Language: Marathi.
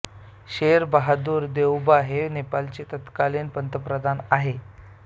शेर बहादूर देउबा हे नेपाळचे तत्कालीन पंतप्रधान आहे